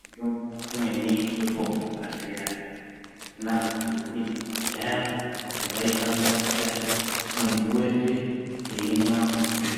Mitombo imweni yatoopuwa kuzvibhahlera yakanaka nekuti kudhayako muntu waikwanisa kuita mwedzi weshe eimwa guchu